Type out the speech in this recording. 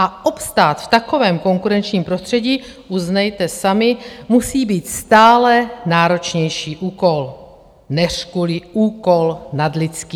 A obstát v takovém konkurenčním prostředí, uznejte sami, musí být stále náročnější úkol, neřku-li úkol nadlidský.